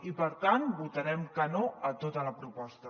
i per tant votarem que no a tota la proposta